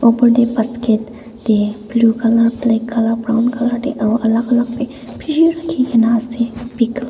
upor te basket te blue colour black colour brown colour te aro alak alak be peshi rakhikena ase pickle .